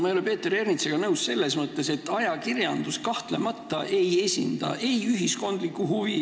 Ma ei ole Peeter Ernitsaga nõus selles mõttes, et ajakirjandus kahtlemata ei esinda ühiskondlikku huvi.